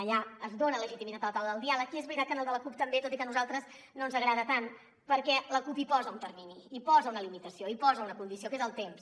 allà es dona legitimitat a la taula del diàleg i és veritat que en el de la cup també tot i que a nosaltres no ens agrada tant per què la cup hi posa un termini hi posa una limitació hi posa una condició que és el temps